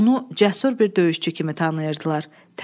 Onu cəsur bir döyüşçü kimi tanıyırdılar.